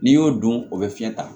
N'i y'o don o bɛ fiɲɛ ta